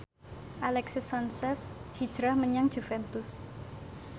Alexis Sanchez hijrah menyang Juventus